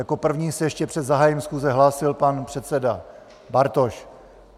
Jako první se ještě před zahájením schůze hlásil pan předseda Bartoš.